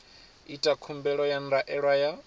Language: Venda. ita khumbelo ya ndaela ya